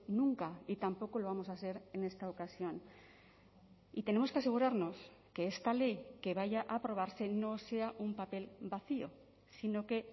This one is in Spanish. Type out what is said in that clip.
nunca y tampoco lo vamos a ser en esta ocasión y tenemos que asegurarnos que esta ley que vaya a aprobarse no sea un papel vacío sino que